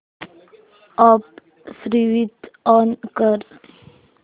app switch on कर